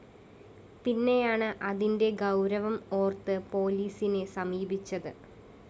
പിന്നെയാണ് അതിന്റെ ഗൗരവം ഓര്‍ത്ത് പോലീസിെന സമീപിച്ചത്